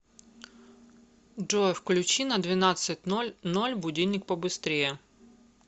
джой включи на двенадцать ноль ноль будильник побыстрее